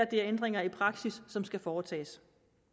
det er ændringer i praksis som skal foretages